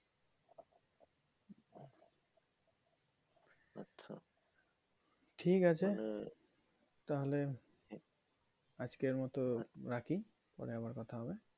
ঠিক আছে তাহলে আজকের মতো রাখি পড়ে আবার কথা হবে।